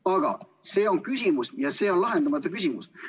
Aga see on küsimus, see on lahendamata küsimus.